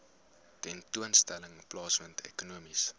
tentoonstelling plaasvind ekonomiese